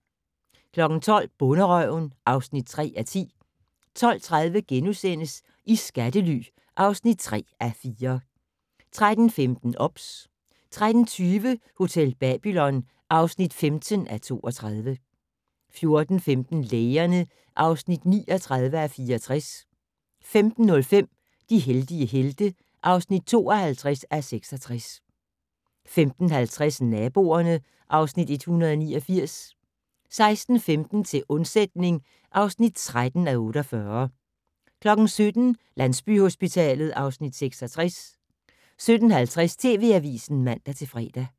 12:00: Bonderøven (3:10) 12:30: I skattely (3:4)* 13:15: OBS 13:20: Hotel Babylon (15:32) 14:15: Lægerne (39:64) 15:05: De heldige helte (52:66) 15:50: Naboerne (Afs. 189) 16:15: Til undsætning (13:48) 17:00: Landsbyhospitalet (Afs. 66) 17:50: TV Avisen (man-fre)